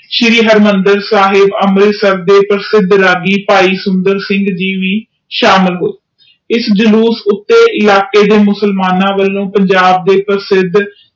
ਸ਼੍ਰੀ ਹਰਿਮੰਦਰ ਸਾਹਿਬ ਅੰਮ੍ਰਿਤਸਰ ਦੇ ਪ੍ਰਸਿਧ ਰੱਗੀ ਭਾਈ ਸੁੰਦਰ ਸਿੰਘ ਵੀ ਸ਼ਾਮਿਲ ਗਏ ਇਹ ਜਲੂਸ ਉਤੇ ਇਲਾਕੇ ਦੇ ਮੁਸਲਮਾਨਾਂ ਵਲੋਂ ਪੰਜਾਬ ਦੇ ਪ੍ਰਸਿੱਧ